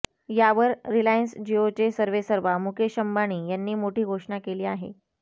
यावर रिलायन्स जिओचे सर्वेसर्वा मुकेश अंबानी यांनी मोठी घोषणा केली आहे